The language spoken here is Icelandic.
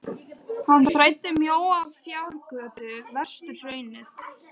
Hann þræddi mjóa fjárgötu vestur hraunið.